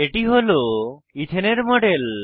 এটি হল ইথেন এর মডেল